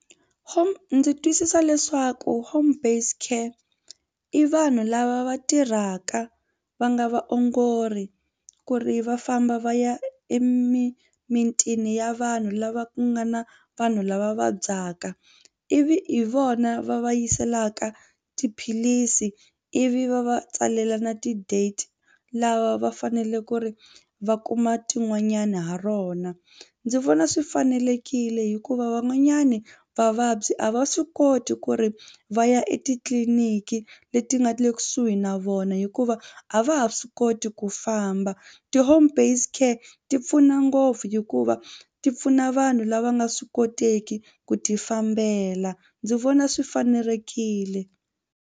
Home ndzi twisisa leswaku home based care i vanhu lava va tirhaka va nga vaongori ku ri va famba va ya emimitini ya vanhu lava ku nga na vanhu lava vabyaka ivi hi vona va va yiselaka tiphilisi ivi va va tsalela na ti-date lava va fanele ku ri va kuma tin'wanyani ha rona. Ndzi vona swi fanelekile hikuva van'wanyani vavabyi a va swi koti ku ri va ya etitliniki leti nga le kusuhi na vona hikuva a va ha swi koti ku famba ti-home based care ti pfuna ngopfu hikuva ti pfuna vanhu lava nga swi koteki ku tifambela ndzi vona swi fanelekile.